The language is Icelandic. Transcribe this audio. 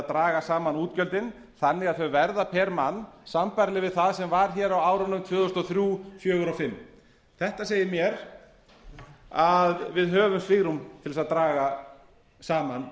draga saman útgjöldin þannig að þau verða pr mann sambærileg við það sem var hér á árunum tvö þúsund og þrjú tvö þúsund og fjögur og tvö þúsund og fimm þetta segir mér að við höfum svigrúm til þess að draga saman